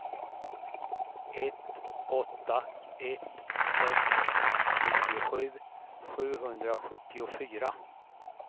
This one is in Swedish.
ett åtta ett sex nittiosju sjuhundrasjuttiofyra